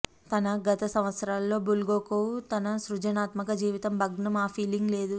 తన గత సంవత్సరాలలో బుల్గాకోవ్ తన సృజనాత్మక జీవితం భగ్నం ఆ ఫీలింగ్ లేదు